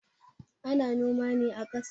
Ana noma ne a kasa